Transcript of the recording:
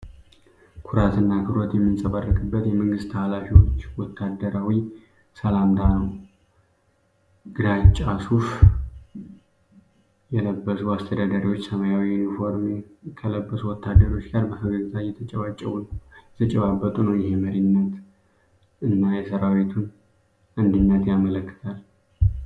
ኩራትና አክብሮት የሚንጸባረቅበት የመንግስት ኃላፊዎች ወታደራዊ ሰላምታ ነው። ግራጫ ሱፍ የለበሱ አስተዳዳሪዎች ሰማያዊ ዩኒፎርም ከለበሱ ወታደሮች ጋር በፈገግታ እየተጨባበጡ ነው። ይህ የመሪነትን እና የሠራዊቱን አንድነት ያመለክታል።